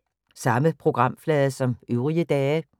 Samme programflade som øvrige dage